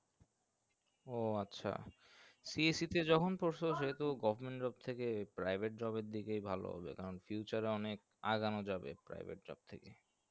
ও আচ্ছা CSE তে যখন process হয় তো government job থেকে private job এর দিকেই ভালো যে তখন future এ অনেক আগানো যাবে private job থেকে